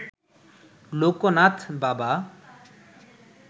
লোকনাথ বাবা